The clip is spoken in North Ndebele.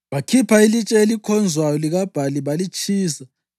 Bakhipha ilitshe elikhonzwayo likaBhali balitshisa.